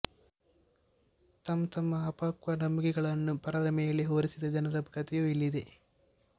ತಂತಮ್ಮ ಅಪಕ್ವ ನಂಬುಗೆಗಳನ್ನು ಪರರ ಮೇಲೆ ಹೊರಿಸಿದ ಜನರ ಕಥೆಯೂ ಇಲ್ಲಿದೆ